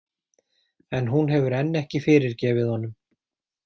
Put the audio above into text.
En hún hefur enn ekki fyrirgefið honum.